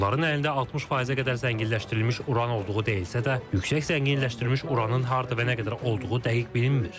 Onların əlində 60%-ə qədər zənginləşdirilmiş uran olduğu deyilsə də, yüksək zənginləşdirilmiş uranın harda və nə qədər olduğu dəqiq bilinmir.